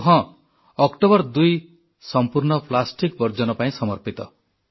ଆଉ ହଁ ଅକ୍ଟୋବର 2 ସମ୍ପୂର୍ଣ୍ଣ ପ୍ଲାଷ୍ଟିକ ବର୍ଜନ ପାଇଁ ସମର୍ପିତ